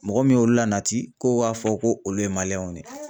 Mɔgɔ min y'olu la nati k'o k'a fɔ k'olu ye maliyɛnw de ye.